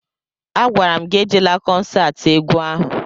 A gwara m gị ejela kọnsatị egwu ahụ!